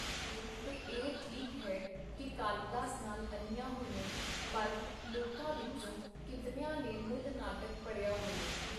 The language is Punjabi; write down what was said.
ਤੇ ਇਹ ਠੀਕ ਹੈ ਕੀ ਕਾਲੀਦਾਸ ਨਾਲ ਅਨਿਆਂ ਹੋਇਆ, ਪਰ ਲੋਕਾਂ ਵਿਚੋਂ ਕੀਤਨਿਆਂ ਨੇ ਮੂਲ ਨਾਟਕ ਪੜ੍ਹਿਆ ਹੋਇਅੇ?.